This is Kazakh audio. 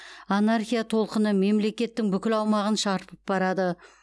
анархия толқыны мемлекеттің бүкіл аумағын шарпып барады